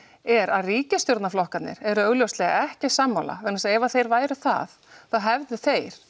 er að ríkisstjórnarflokkarnir eru augljóslega ekki sammála vegna þess að ef þeir væru það þá hefðu þeir